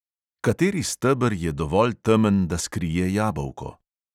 Kateri steber je dovolj temen, da skrije jabolko?